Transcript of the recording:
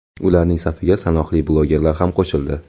Ularning safiga sanoqli blogerlar ham qo‘shildi.